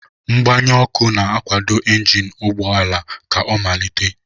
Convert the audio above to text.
Mgbanye ọkụ na-akwado injin ụgbọ ala ka ọ malite.